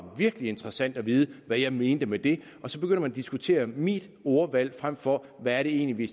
lidt interessant at vide hvad jeg mente med det og så begynder man at diskutere mit ordvalg frem for hvad det egentlig